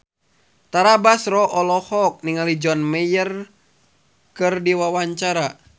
Tara Basro olohok ningali John Mayer keur diwawancara